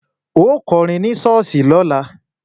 Ó kọrin ní ṣọ́ọ̀ṣì lọ́la!